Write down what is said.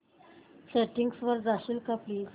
settings वर जाशील का प्लीज